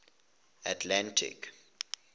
atlantic